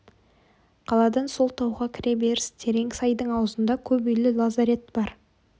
қаладан сол тауға кіре беріс терең сайдың аузында көп үйлі лазарет бар